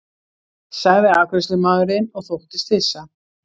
sagði afgreiðslumaðurinn og þóttist hissa.